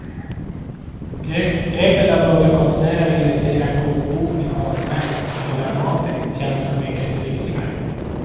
Greppet att låta konstnärer illustrera en kokbok med konstverk som hyllar maten känns så mycket riktigare.